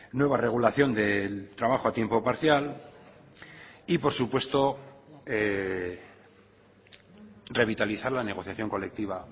nueva regulación del trabajo a tiempo parcial y por supuesto revitalizar la negociación colectiva